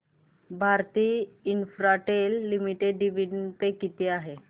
Bharti Infratel limited dividend pay किती आहे